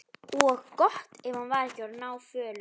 Og gott ef hann var ekki orðinn náfölur.